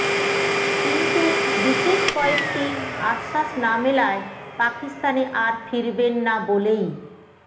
কিন্তু বিশেষ কয়েকটি আশ্বাস না মেলায় পাকিস্তানে আর ফিরবেন না বলেই